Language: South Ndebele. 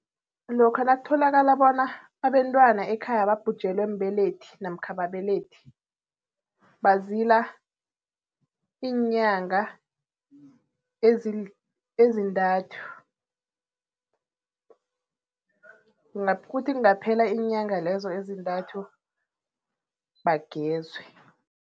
Lokha nakutholakala bona abentwana ekhaya babhujelwe mbelethi namkha ababelethi. Bazila iinyanga ezintathu. Kuthi kungaphela iinyanga lezo ezintathu bagezwe.